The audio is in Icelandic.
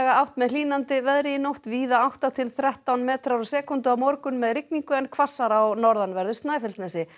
átt með hlýnandi veðri í nótt víða átta til þrettán metrar á sekúndu á morgun með rigningu en hvassara á norðanverðu Snæfellsnesi